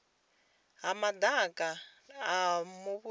ha madaka a muvhuso nga